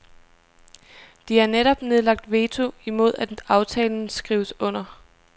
De har netop nedlagt veto imod at aftalen skrives under.